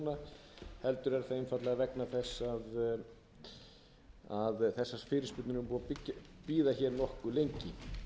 núna heldur er það einfaldlega vegna þess að þessar fyrirspurnir eru búnar að bíða hér nokkuð lengi